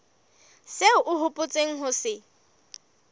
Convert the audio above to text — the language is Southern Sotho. seo o hopotseng ho se